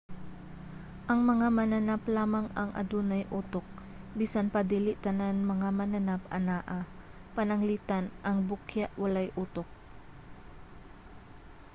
ang mga mananap lamang ang adunay utok bisan pa dili tanan mga mananap anaa; pananglitan ang bukya walay utok